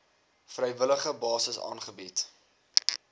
vrywillige basis aangebied